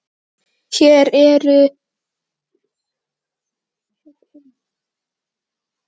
Hugrún: Kemur ekki á óvart að þeir eyði þá meiru?